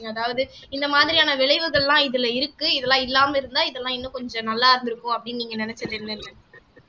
அதாவது இந்த மாதிரியான விளைவுகள்லாம் இதுல இருக்கு இதெல்லாம் இல்லாம இருந்தா இதெல்லாம் இன்னும் கொஞ்சம் நல்லா இருந்திருக்கும் அப்படின்னு நீங்க நினைச்சது என்னென்ன